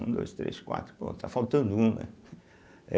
Um, dois, três, quatro, pronto, está faltando um, né.